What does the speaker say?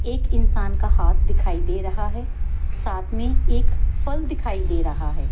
एक इंसान का हाथ दिखाई दे रहा है साथ में एक फल दिखाई दे रहा है।